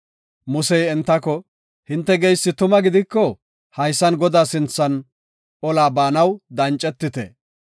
Musey entako, “Hinte geysi tuma gidiko haysan Godaa sinthan ola baanaw dancetite.